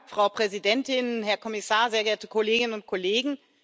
Frau Präsidentin, Herr Kommissar, sehr geehrte Kolleginnen und Kollegen!